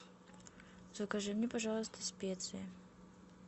закажи мне пожалуйста специи